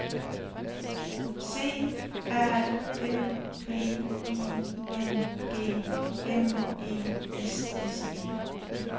C A M P I N G M E S S E